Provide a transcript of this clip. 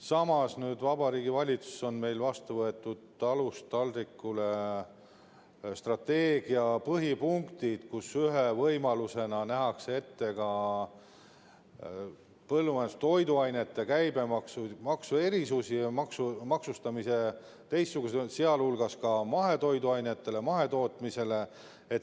Samas, Vabariigi Valitsuses on meil nüüd vastu võetud strateegia "Talust taldrikule" põhipunktid, kus ühe võimalusena nähakse ette ka põllumajandustoiduainete käibemaksu erisusi ja teistsugust maksustamist, sh mahetoiduainetele, mahetootmisele.